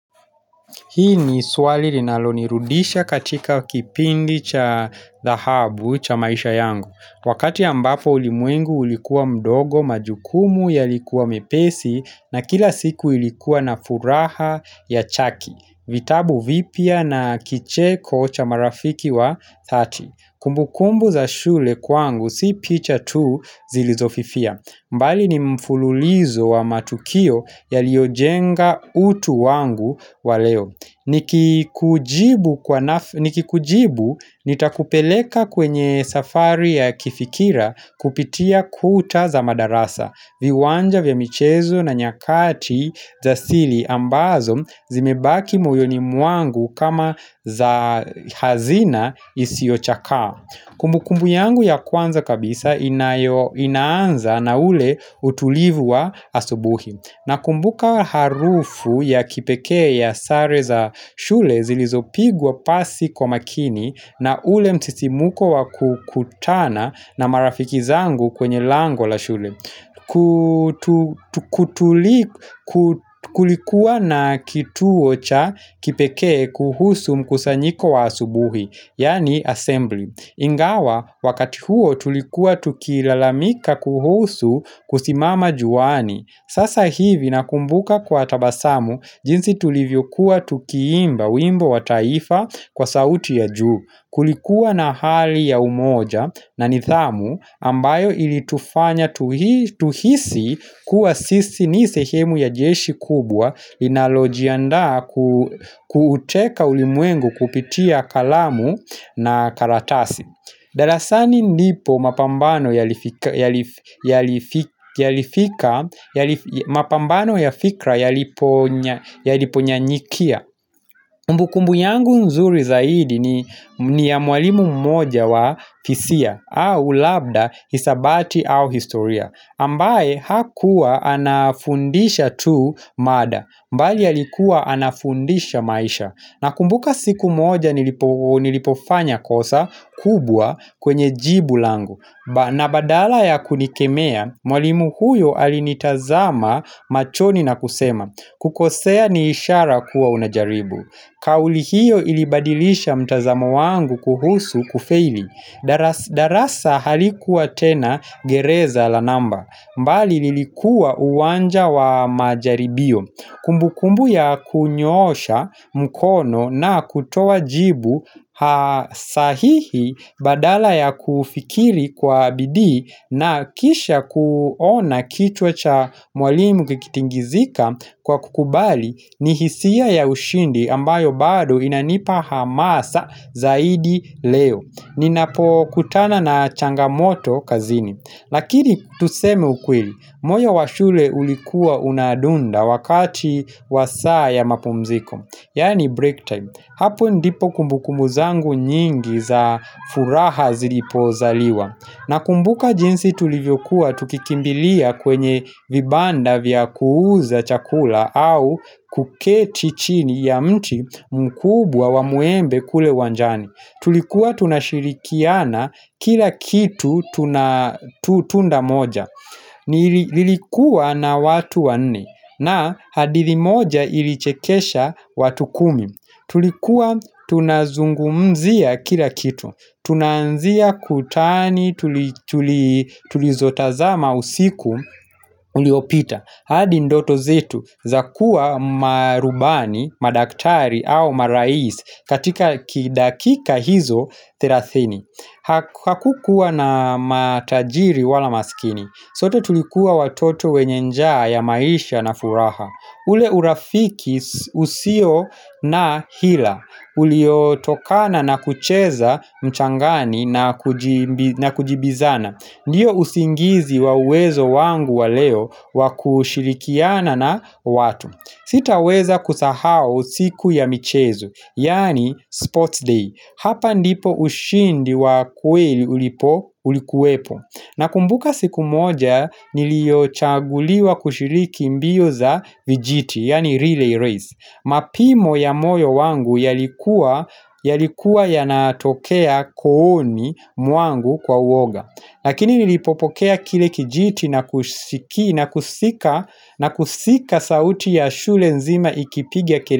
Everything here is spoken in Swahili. Hii ni swali linalonirudisha katika kipindi cha dhahabu cha maisha yangu. Wakati ambapo ulimwengu ulikuwa mdogo majukumu yalikuwa mepesi na kila siku ilikuwa na furaha ya chaki. Vitabu vipya na kicheko cha marafiki wa thati. Kumbukumbu za shule kwangu si picha tu zilizofifia. Mbali ni mfululizo wa matukio yaliyojenga utu wangu wa leo Nikikujibu nitakupeleka kwenye safari ya kifikira kupitia kuta za madarasa Viwanja vya michezo na nyakati za sili ambazo zimebaki moyoni mwangu kama za hazina isiochakaa Kumbu kumbu yangu ya kwanza kabisa inaanza na ule utulivu wa asubuhi. Na kumbuka harufu ya kipekee ya sare za shule zilizopigwa pasi kwa makini na ule msisimuko wa kukutana na marafiki zangu kwenye lango la shule. Kulikuwa na kituo cha kipekee kuhusu mkusanyiko wa asubuhi Yaani 'assembly' Ingawa wakati huo tulikuwa tukilalamika kuhusu kusimama juani Sasa hivi nakumbuka kwa tabasamu jinsi tulivyokuwa tukiimba wimbo wa taifa kwa sauti ya juu Kulikuwa na hali ya umoja na nithamu ambayo ilitufanya tuhisi kuwa sisi ni sehemu ya jeshi kubwa Inalojiandaa kuteka ulimwengu kupitia kalamu na karatasi darasani ndipo mapambano ya fikra yaliponyanyikia Kumbukumbu yangu nzuri zaidi ni ya mwalimu mmoja wa fisia au labda, hisabati au historia. Ambaye hakuwa anafundisha tu mada, mbali alikuwa anafundisha maisha. Na kumbuka siku mmoja nilipofanya kosa kubwa kwenye jibu langu. Na badala ya kunikemea, mwalimu huyo alinitazama machoni na kusema. Kukosea ni ishara kuwa unajaribu Kauli hiyo ilibadilisha mtazamo wangu kuhusu kufaili darasa halikuwa tena gereza la namba bali lilikuwa uwanja wa majaribio Kumbukumbu ya kunyoosha mkono na kutoa jibu Ha sahihi badala ya kufikiri kwa bidii na kisha kuona kichwa cha mwalimu kikitingizika kwa kukubali ni hisia ya ushindi ambayo bado inanipa hamasa zaidi leo Ninapokutana na changamoto kazini Lakini tuseme ukweli moyo wa shule ulikuwa unadunda wakati wa saa ya mapumziko Yaani 'break time' Hapo ndipo kumbukumbu zangu nyingi za furaha zilipozaliwa Nakumbuka jinsi tulivyokuwa tukikimbilia kwenye vibanda vya kuuza chakula au kuketi chini ya mti mkubwa wa mwembe kule uwanjani. Tulikuwa tunashirikiana kila kitu tuna tunda moja. Nilikuwa na watu wanne na hadithi moja ilichekesha watu kumi. Tulikuwa tunazungumzia kila kitu Tunaanzia kutani tulizotazama usiku uliopita hadi ndoto zetu za kuwa marubani, madaktari au maraisi katika kidakika hizo thelathini Hakukuwa na matajiri wala maskini sote tulikuwa watoto wenye njaa ya maisha na furaha ule urafiki usio na hila. Uliotokana na kucheza mchangani na kujibizana. Ndiyo usingizi wa uwezo wangu wa leo wa kushilikiana na watu. Sitaweza kusahau siku ya michezuo. Yaani 'sports day'. Hapa ndipo ushindi wa kweli ulipo ulikuwepo. Nakumbuka siku moja nilio chaguliwa kushiriki mbio za vijiti yaani 'relay race' Mapimo ya moyo wangu yalikuwa yalikuwa yanatokea kooni mwangu kwa uoga Lakini nilipopokea kile kijiti na kusika sauti ya shule nzima ikipigia kel.